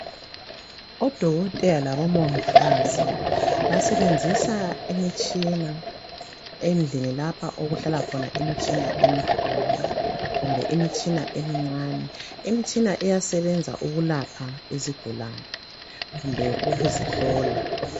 Odokotela labomongikazi basebenzisa imitshina endlini lapha okuhlala khona imitshina eminengi emikhulu kumbe imitshina emincane. Imitshina iyasebenza ukulapha isigulane kumbe ukusihlola.